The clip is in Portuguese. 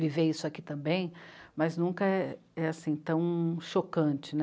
viver isso aqui também, mas nunca é... é assim, tão chocante né.